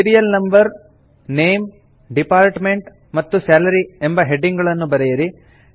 serial number name department ಮತ್ತು salary ಎಂಬ heading ಗಳನ್ನು ಬರೆಯಿರಿ